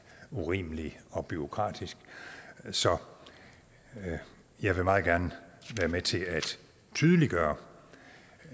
urimelig og bureaukratisk så jeg vil meget gerne være med til at tydeliggøre